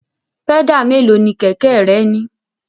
Pẹ́dà mélòó ni kẹ̀kẹ́ rẹ ní?